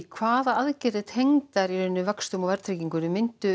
hvaða aðgerðir tengdar vöxtum og verðtryggingu myndu